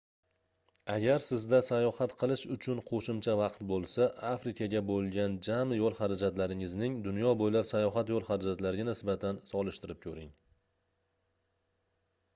agar sizda sayohat qilish uchun qoʻshimcha vaqt boʻlsa afrikaga boʻlgan jami yoʻl harajatlaringizning dunyo boʻylab sayohat yoʻl harajatlariga nisbatan solishtirib koʻring